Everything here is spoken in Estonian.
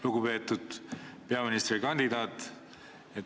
Lugupeetud peaministrikandidaat!